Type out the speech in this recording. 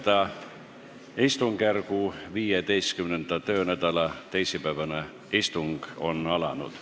VII istungjärgu 15. töönädala teisipäevane istung on alanud.